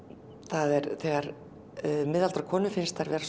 er þegar miðaldra konum finnst þær vera